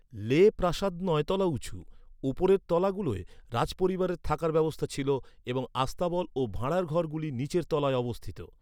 লে প্রাসাদ নয় তলা উঁচু; উপরের তলাগুলোয় রাজপরিবারের থাকার ব্যবস্থা ছিল, এবং আস্তাবল ও ভাঁড়ারঘরগুলি নীচের তলায় অবস্থিত।